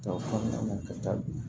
Ta o kɔnɔna na ka taa bi